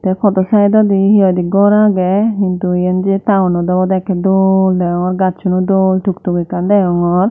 te podo saidodi hehoide gor agey hintu eyen je taonot obode ekken dol degongor gacchuno dol tuktuk ekkan degongor.